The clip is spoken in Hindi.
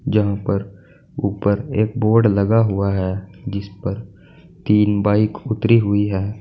यहां पर ऊपर एक बोर्ड लगा हुआ है जिस पर तीन बाइक उतरी हुई है।